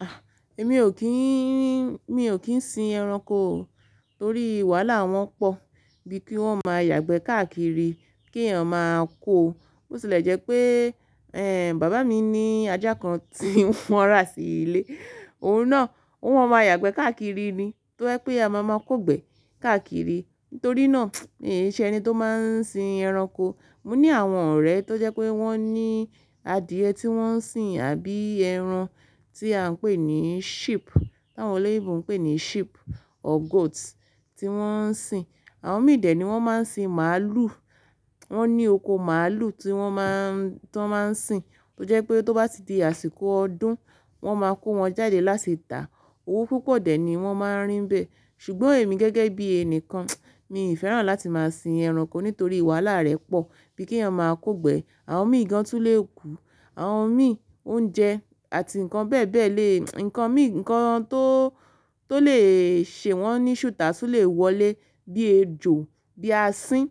Ah! Èmi ò kíì, mi ò kí ń sin ẹranko torí wala wọn pọ̀, bí i kí wọ́n máa yàgbẹ́ káàkiri, kí èèyàn máa kó. Bó tilẹ̀ jẹ́ pé, ẹ́ẹ́, bàbá mi ní ajá kan tí wọ́n rà sí ilé. Òun náà, ó wọ́n máa yàgbẹ́ káàkiri ni, tó je pé a máa máa kó gbẹ́ káàkiri. Nítorí náà, iin ṣe ẹni tó máa ń sin ẹranko. Mo ní àwọn ọ̀rẹ́ tó jẹ́ pé wọ́n ní adìẹ tí wọ́n ń sìn àbí ẹran tí à ń pè ní sheep, táwọn olè ibùn ń pè ní sheep or goat tí wọ́n ń sìn. Àwọn mì dẹ́ ni wọ́n máa ń sin màálù. Wọ́n ní oko màálù tí wọ́n máà, tí wọ́n máa ń sìn. Tó jẹ́ pé tó bá ti di àsìkò ọdún, wọ́n máa kó wọn jáde láti tà. Owó púpọ̀ dè ni wọ́n máa ń rín bẹ́ẹ̀. Ṣùgbọ́n èmi gẹ́gẹ́ bí ẹnìkan, mi i fẹ́ràn láti máa sin ẹranko nítorí ìwàlá rẹ̀ pọ̀, bíi kí èèyàn máa kó gbẹ́, àwọn mìí gan tún lè kú, àwọn mìí oúnjẹ àti nǹkan bẹ́ẹ̀ bẹ́ẹ̀ lè, nǹkan mìí, ǹkan tó, tó lè ṣe wọ́n níṣùtá tún lè wọlé bí ejò, bí asín.